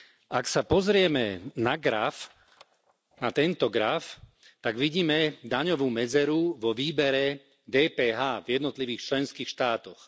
Ak sa pozrieme na graf, na tento graf, tak vidíme daňovú medzeru vo výbere DPH v jednotlivých členských štátoch.